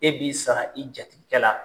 E b'i sara i jatigikɛ la.